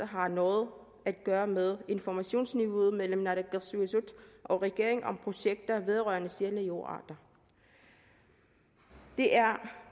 har noget at gøre med informationsniveauet mellem naalakkersuisut og regeringen om projekter vedrørende sjældne jordarter det er